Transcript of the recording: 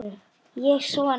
Ekki svona.